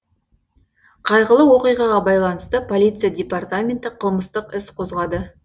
қайғылы оқиғаға байланысты полиция департаменті қылмыстық іс қозғады